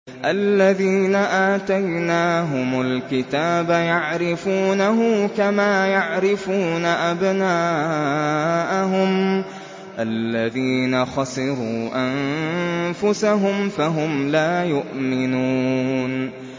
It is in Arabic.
الَّذِينَ آتَيْنَاهُمُ الْكِتَابَ يَعْرِفُونَهُ كَمَا يَعْرِفُونَ أَبْنَاءَهُمُ ۘ الَّذِينَ خَسِرُوا أَنفُسَهُمْ فَهُمْ لَا يُؤْمِنُونَ